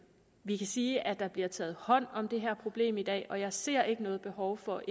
vi kan sige at der bliver taget hånd om det her problem i dag og jeg ser ikke noget behov for